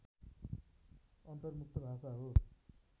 अन्तर्मुक्त भाषा हो